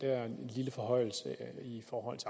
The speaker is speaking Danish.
kort